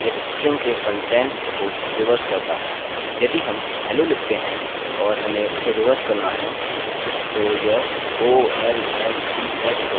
यदि हम लिखते हैं और हमें उसे रिवर्स करना है तो यह olleh होगा